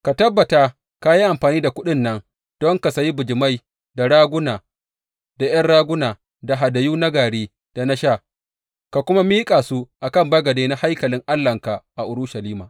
Ka tabbata ka yi amfani da kuɗin nan don ka sayi bijimai, da raguna, da ’yan raguna, da hadayu na gari, da na sha, ka kuma miƙa su a kan bagade na haikalin Allahnka a Urushalima.